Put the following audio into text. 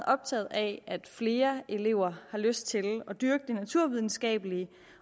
optaget af at flere elever har lyst til at dyrke det naturvidenskabelige